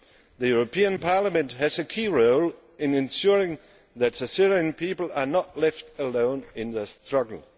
The European Parliament has a key role in ensuring that the Syrian people are not left alone in their struggle.